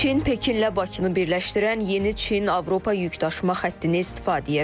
Çin Pekinlə Bakını birləşdirən yeni Çin-Avropa yükdaşıma xəttini istifadəyə verib.